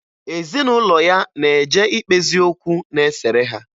Ezinụlọ ya na-eje ikpezi okwu na-esere ha